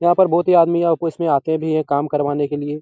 यहाँ पर बहुत ही आदमी ऑफिस में आते भी हैं काम करवाने के लिए।